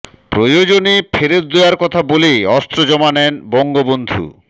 প্রয়োজনে ফেরত দেওয়ার কথা বলে অস্ত্র জমা নেন বঙ্গবন্ধু